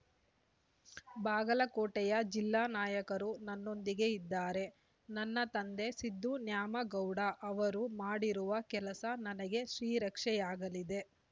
ಬಾಗಲಕೋಟೆಯ ಜಿಲ್ಲಾ ನಾಯಕರು ನನ್ನೊಂದಿಗೆ ಇದ್ದಾರೆ ನನ್ನ ತಂದೆ ಸಿದ್ದು ನ್ಯಾಮಗೌಡ ಅವರು ಮಾಡಿರುವ ಕೆಲಸ ನನಗ ಶ್ರೀರಕ್ಷೆಯಾಗಲಿದೆ